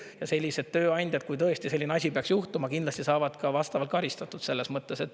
Ja sellised tööandjad, kui tõesti selline asi peaks juhtuma, kindlasti saavad ka vastavalt karistatud.